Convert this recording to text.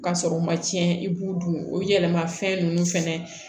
Ka sɔrɔ u ma cɛn i b'u dun o yɛlɛma fɛn ninnu fɛnɛ